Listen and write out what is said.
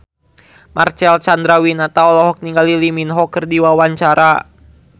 Marcel Chandrawinata olohok ningali Lee Min Ho keur diwawancara